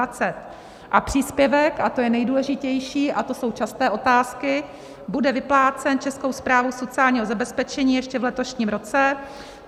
A příspěvek - a to je nejdůležitější a to jsou časté otázky - bude vyplácen Českou správou sociálního zabezpečení ještě v letošním roce.